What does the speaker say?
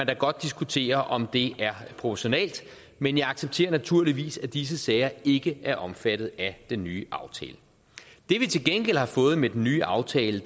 da godt diskutere om det er proportionalt men jeg accepterer naturligvis at disse sager ikke er omfattet af den nye aftale det vi til gengæld har fået med den nye aftale